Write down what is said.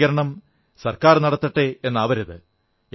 ശുചീകരണം സർക്കാർ നടത്തട്ടെ എന്നാവരുത്